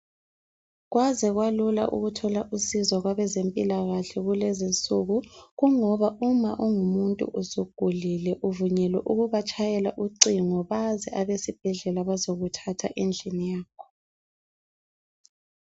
Kwaze kwalula ukuthola usizo kwabezempilakahle kulezinsuku. Kungoba uma ungumuntu usugulile uvunyelwe ukubatshayela ucingo baze abezibhedlela bazokuthatha endlini yakho.